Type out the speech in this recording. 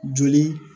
Joli